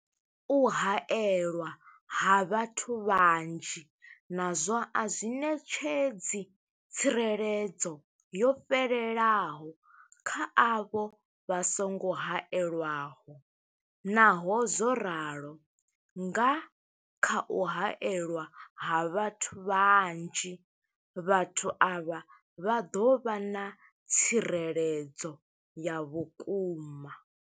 U haelwa ha vhathu vhanzhi nazwo a zwi ṋetshedzi tsireledzo yo fhelelaho kha avho vha songo haelwaho, Naho zwo ralo, nga kha u haelwa ha vhathu vhanzhi, vhathu avha vha ḓo vha na tsireledzo ya vhukuma.